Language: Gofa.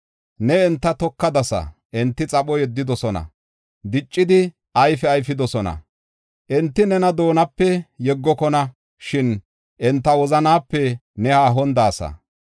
Neeni enta tokadasa; enti xapho yeddidosona; diccidi ayfe ayfidosona. Enti nena doonape yeggokona; shin enta wozanaape ne haahon de7aasa.